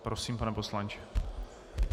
Prosím, pane poslanče.